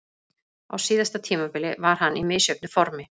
Á síðasta tímabili var hann í misjöfnu formi.